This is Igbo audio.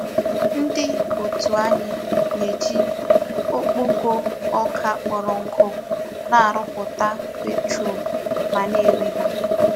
Ndi otu anyi na-eji okpoko oka kporo nku na-aruputa petrol ma na-ere ha.